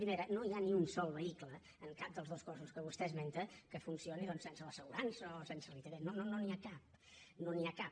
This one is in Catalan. primera no hi ha ni un sol vehicle en cap dels dos cossos que vostè esmenta que funcioni sense l’assegurança o sense la itv no n’hi ha cap no n’hi ha cap